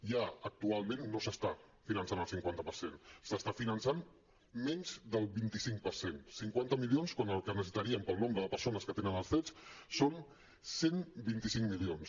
ja actualment no s’està finançant al cinquanta per cent se n’està finançant menys del vint cinc per cent cinquanta milions quan el que necessitaríem pel nombre de persones que tenen els cets són cent i vint cinc milions